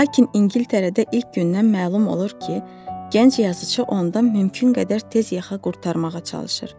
Lakin İngiltərədə ilk gündən məlum olur ki, gənc yazıçı ondan mümkün qədər tez yaxa qurtarmağa çalışır.